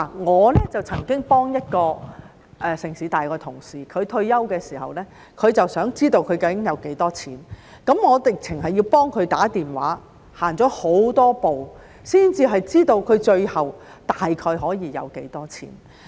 我曾幫助一位香港城市大學的同事，他在退休的時候想知道他究竟有多少錢，我甚至要替他致電查詢，走了很多步才知道他最後大概可以有多少錢。